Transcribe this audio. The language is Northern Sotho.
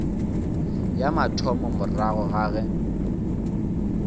ya mathomo morago ga ge